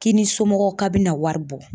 K'i ni somɔgɔw ka bina wari bɔ.